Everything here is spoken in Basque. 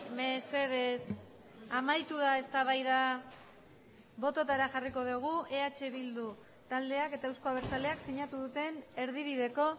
mesedez amaitu da eztabaida bototara jarriko dugu eh bildu taldeak eta euzko abertzaleak sinatu duten erdibideko